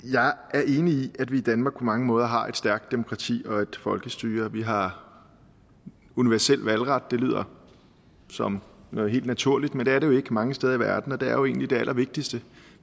er enig i at vi i danmark på mange måder har et stærkt demokrati og folkestyre vi har universel valgret det lyder som noget helt naturligt men det er det jo ikke mange steder i verden og det er jo egentlig det allervigtigste